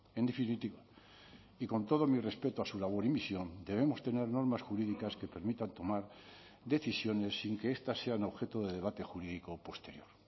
en definitiva y con todo mi respeto a su labor y misión debemos tener normas jurídicas que permitan tomar decisiones sin que estas sean objeto de debate jurídico posterior